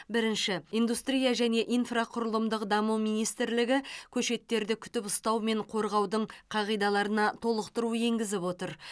бірінші индустрия және инфрақұрылымдық даму министрлігі көшеттерді күтіп ұстау мен қорғаудың қағидаларына толықтыру енгізіп отыр